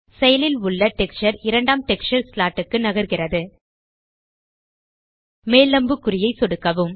செயலில் உள்ள டெக்ஸ்சர் இரண்டாம் டெக்ஸ்சர் ஸ்லாட் க்கு நகர்கிறது மேல் அம்புக்குறியை சொடுக்கவும்